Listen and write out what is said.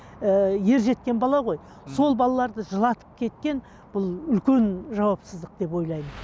і ержеткен бала ғой сол балаларды жылатып кеткен бұл үлкен жауапсыздық деп ойлаймын